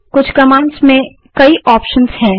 कुछ कमांड्स में कई ऑप्शंस होते हैं